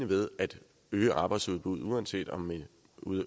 ved at øge arbejdsudbuddet altså uanset om man